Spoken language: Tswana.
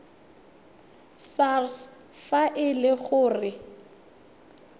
sars fa e le gore